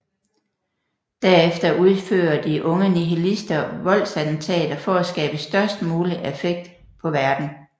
Derefter udfører de unge nihilistister voldsattentater for at skabe størst mulig affekt på verden